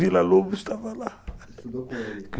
Vila Lobos estava lá.